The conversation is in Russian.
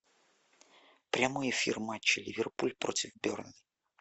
прямой эфир матча ливерпуль против бернли